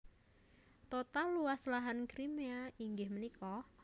Total luas lahan Crimea inggih punika